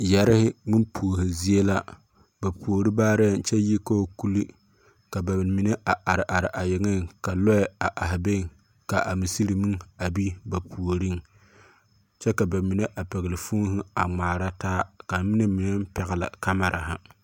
Yɛrehe ŋmempuohe zie la. ba puohe parɛɛŋ kyɛ kɔɔ kuli ka ka ba mine a are are a yeŋeŋ ka lɔɛ a ahe beŋ ka a musiri meŋ a be ba puoriŋ, kyɛ ka ba mine a pɛgle foonhe a ŋmaara taa kaa noba mine meŋ a pɛgle kamerahe.